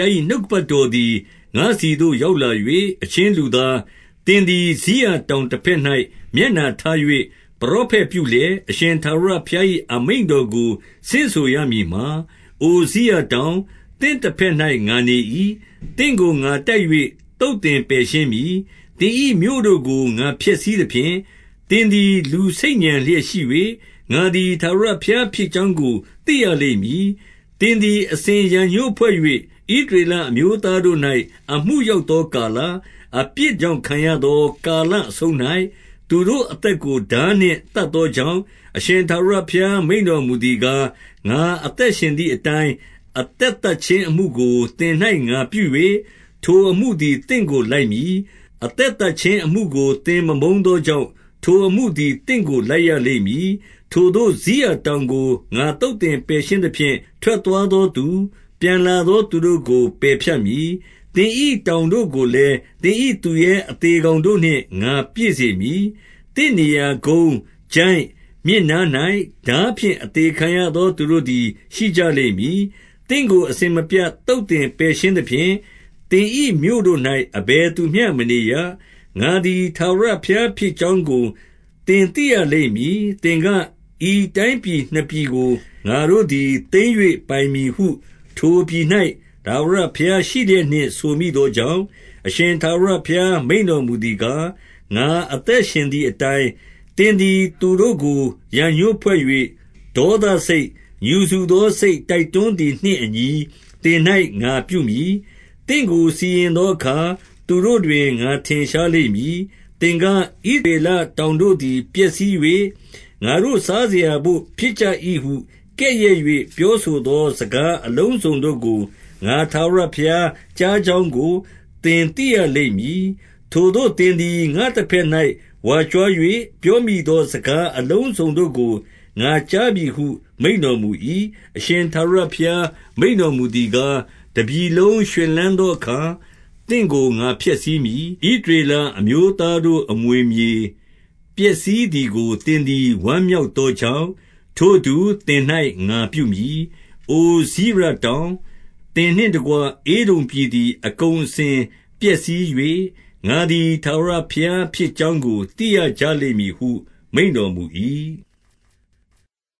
ား၏ နှုတ်ကပတ်တော်သည် ငါ့ဆီသို့ရောက်လာ၍၊ 2 အချင်းလူသား၊ သင်သည် စိရတောင်တဘက်၌ မျက်နှာထား၍ ပရောဖက်ပြုလျက်၊ အရှင်ထာဝရဘုရား ၏ အမိန့်တော်ကို ဆင့်ဆိုရမည်မှာ၊ 3 အိုစိရတောင်၊ သင့်တဘက်၌ ငါနေ၏။ သင့်ကို ငါတိုက်၍ သုတ်သင်ပယ်ရှင်းမည်။ 4 သင်၏မြို့တို့ကို ငါဖျက်ဆီးသဖြင့် သင်သည် လူဆိတ်ညံလျက်ရှိ၍၊ ငါသည် ထာဝရဘုရားဖြစ်ကြောင်း ကို သိရလိမ့်မည်။ 5 သင်သည် အစဉ်ရန်ငြိုးဖွဲ့၍ ဣသရေလအမျိုး သားတို့၌ အမှုရောက်သောကာလ၊ အပြစ်ကြောင့် ခံရ သောကာလအဆုံး၌၊ သူတို့အသက်ကို ထားနှင့် သတ် သောကြောင့်၊ 6 အရှင်ထာဝရဘုရားမိန့်တော်မူသည်ကား၊ ငါအသက်ရှင်သည်အတိုင်း၊ အသက်သတ်ခြင်းအမှုကို သင်၌ငါပြု၍၊ ထိုအမှုသည်သင့်ကို လိုက်မည်။ အသက် သတ်ခြင်းအမှုကို သင်မမုန်းသောကြောင့်၊ ထိုအမှုသည် သင့်ကိုလိုက်ရလိမ့်မည်။ 7 ထိုသို့စိရတောင်ကို ငါသုတ်သင်ပယ်ရှင်းသဖြင့် ထွက်သွားသောသူ၊ ပြန်လာသောသူတို့ကို ပယ်ဖြတ်မည်။ 8 သင်၏တောင်တို့ကိုလည်း သင်၏သူရဲအသေ ကောင်တို့နှင့် ငါပြည့်စေမည်။ သင့်နေရာကုန်း၊ ချိုင့်၊ မြစ်နား၌ထားဖြင့် အသေခံရသော သူတို့သည် ရှိကြ လိမ့်မည်။ 9 သင့်ကိုအစဉ်မပြတ် သုတ်သင်ပယ်ရှင်းသဖြင့်၊ သင်၏မြို့တို့၌ အဘယ်သူမျှမနေရ။ ငါသည်ထာဝရ ဘုရားဖြစ်ကြောင်းကို သင်သိရလိမ့်မည်။ 10 သင်က၊ ဤတိုင်းပြည်နှစ်ပြည်ကိုငါတို့သည် သိမ်း၍ပိုင်မည်ဟု ထိုပြည်၌ ထာဝရဘုရားရှိလျက်နှင့် ဆိုမိသောကြောင့်၊ 11 အရှင်ထာဝရဘုရား မိန့်တော်မူသည်ကား၊ ငါအသက်ရှင်သည်အတိုင်း၊ သင်သည်သူတို့ကို ရန်ငြိုးဖွဲ့၍ ဒေါသစိတ်၊ ငြူစူသောစိတ် တိုက်တွန်းသည် နှင့်အညီ သင်၌ ငါပြုမည်။ သင့်ကို စီရင်သောအခါ သူတို့တွင် ငါထင်ရှားလိမ့်မည်။ 12 သင်က၊ ဣသရေလတောင်တို့သည် ပျက်စီး၍ ငါတို့စားစရာရဘို့ဖြစ်ကြ၏ဟု ကဲ့ရဲ့၍ပြောဆိုသော စကားအလုံးစုံတို့ကို ငါထာဝရဘုရားကြားကြောင်းကို သင်သိရလိမ့်မည်။ 13 ထိုသို့သင်သည် ငါ့တဘက်၌ဝါကြွား၍ ပြောမိ သောစကား အလုံးစုံတို့ကို ငါကြားပြီဟု မိန့်တော်မူ၏။ 14 အရှင်ထာဝရဘုရား မိန့်တော်မူသည်ကား၊ တပြည်လုံးရွှင်လန်းသောအခါ သင့်ကိုငါဖျက်ဆီးမည်။ 15 ဣသရေလအမျိုးသားတို့ အမွေမြေ ပျက်စီး သည်ကို သင်သည် ဝမ်းမြောက်သောကြောင့်၊ ထိုအတူ သင်၌ငါပြုမည်။ အိုစိရတောင်၊ သင်နှင့်တကွ ဧဒုံပြည် သည် အကုန်အစင်ပျက်စီး၍ ငါသည်ထာဝရဘုရား ဖြစ်ကြောင်းကို သိရကြလိမ့်မည်ဟု မိန့်တော်မူ၏။